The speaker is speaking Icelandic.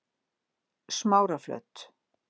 Smáraflöt